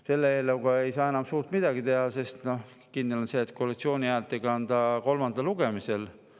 Selle eelnõuga ei saa enam suurt midagi teha, sest kindel on see, et koalitsiooni häältega kolmandale lugemisele.